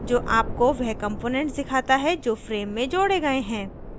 जो आपको वह components दिखाता है जो frame में जोड़े गये हैं